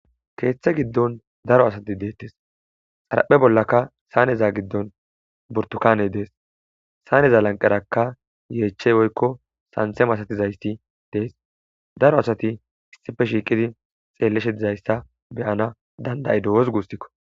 keeththe giddon daro asati deettes xaraphe bollaka saaneza giddon burtukane dees saaneza lanqerakka yeechey oykko santhema asatizayssi dees daro asati issife shiiqidi xeelleshe dizayssa beyana dandayido wos gussikko